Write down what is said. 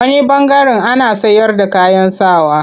A wani ɓangaren ana sayarda kayan sa wa.